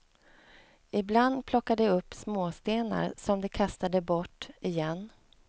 Ibland plockade de upp småstenar, som de kastade bort igen.